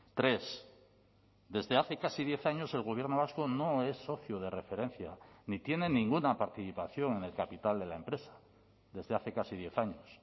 tres desde hace casi diez años el gobierno vasco no es socio de referencia ni tiene ninguna participación en el capital de la empresa desde hace casi diez años